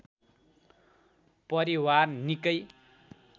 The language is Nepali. परिवार निकै